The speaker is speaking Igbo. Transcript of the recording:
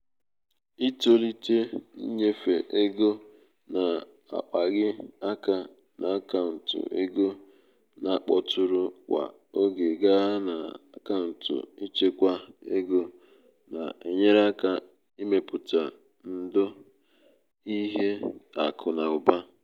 ịtọlite ịnyefe ego na-akpaghị aka n’akaụntụ ego na-akpọtụrụ kwa oge gaa na akaụntụ ịchekwa ego na-enyere aka ịmepụta ndò ịmepụta ndò n’ihe akụ na ụba.